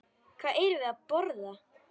Hvað erum við að borða?